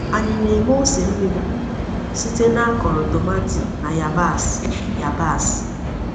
Anyị na-eme ose mmiri site n’akọrọ tomati na yabasị. yabasị.